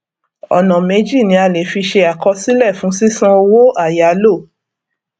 ọnà méjì ni a le fi ṣe àkọsílẹ fún sísan owó àyálò